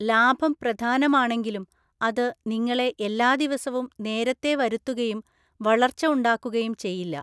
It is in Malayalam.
ലാഭം പ്രധാനമാണെങ്കിലും, അത് നിങ്ങളെ എല്ലാ ദിവസവും നേരത്തെ വരുത്തുകയും വളർച്ച ഉണ്ടാക്കുകയും ചെയ്യില്ല.